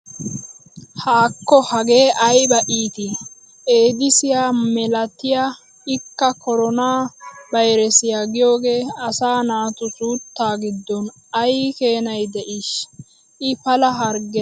Haakkko hagee ayba iitti! eeddiissiya malaattay ikka koroonaa bayreessiya giyogee asaa naatu suuttaa giddon ay keennay de'iish i pala harggettenne.